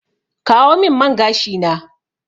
Kawo min man gashi na!